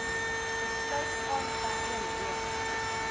besluit aangeheg